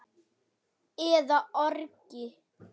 eða orgi.